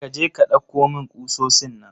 Kaje ka dauko min ƙusosin nan.